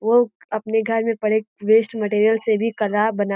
वो अपने घर में पड़े वेस्ट मैटीरियल से भी बना --